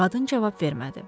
Qadın cavab vermədi.